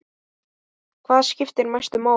Hvað skiptir mestu máli?